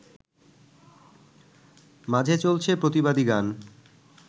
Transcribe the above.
মাঝে চলছে প্রতিবাদী গান